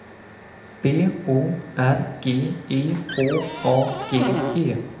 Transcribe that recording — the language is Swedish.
B O R G E H A G E